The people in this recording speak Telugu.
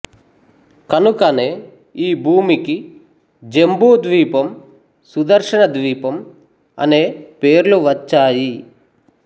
కనుకనే ఈ భూమికి జంబూ ద్వీపం సుదర్శన ద్వీపం అనే పేర్లు వచ్చాయి